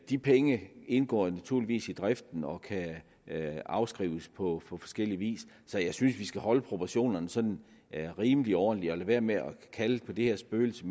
de penge indgår naturligvis i driften og kan afskrives på forskellig vis så jeg synes vi skal holde proportionerne sådan rimelig ordentlige og lade være med at kalde på det her spøgelse i